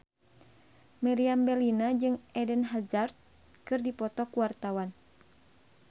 Meriam Bellina jeung Eden Hazard keur dipoto ku wartawan